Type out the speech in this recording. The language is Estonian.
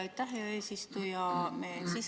Aitäh, hea eesistuja!